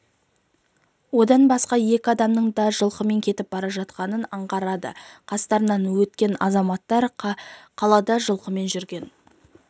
одан басқа екі адамның да жылқымен кетіп бара жатқаны аңғарылады қастарынан өткен азаматтар қалада жылқымен жүрген